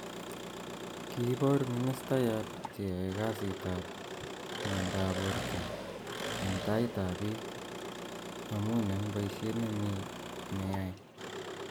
Kiiboor ministayaat cheyae kasitaab myendaab borto eng taitabiik amun eng boisyet nemnye neyaae